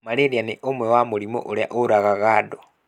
Marĩria nĩ ũmwe wa mũrimũ ũrĩa ũragaga andũ